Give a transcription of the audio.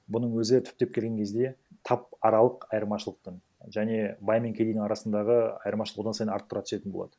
бұның өзі түптеп келген кезде тап аралық айырмашылықтың және бай мен кедейдің арасындағы айырмашылық одан сайын арттыра түсетін болады